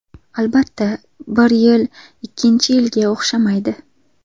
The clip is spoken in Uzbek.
Albatta, bir yil ikkinchi yilga o‘xshamaydi.